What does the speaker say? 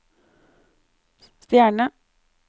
stjerne